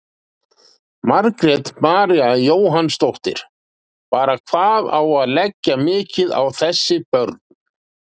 Margrét María Jóhannsdóttir: Bara hvað á að leggja mikið á þessi börn?